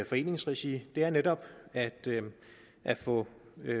foreningsregi er netop at at få